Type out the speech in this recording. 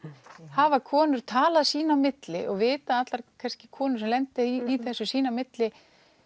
hafa konur talað sín á milli og vita allar konur sem lenda kannski í þessu sín á milli